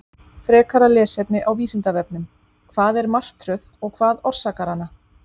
Frekara lesefni á Vísindavefnum: Hvað er martröð og hvað orsakar hana?